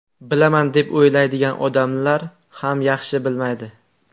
Bilaman deb o‘ylaydigan odamlar ham yaxshi bilmaydi.